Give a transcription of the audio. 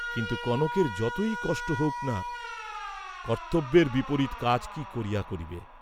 কিন্তু কনকের যতই কষ্ট হউক না, কর্ত্তব্যের বিপরীত কাজ কি করিয়া করিবে?